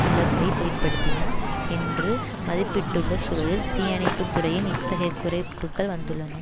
இழப்பை ஏற்படுத்தின என்று மதிப்பிட்டுள்ள சுழலில் தீயணைப்பு துறையில் இத்தகைய குறைப்புக்கள் வந்துள்ளன